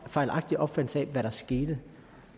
fejlagtig opfattelse af hvad der skete